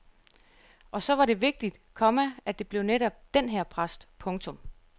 Og så var det vigtigt, komma at det blev netop den her præst. punktum